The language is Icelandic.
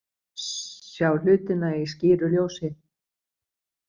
Sjá hlutina í skýru ljósi.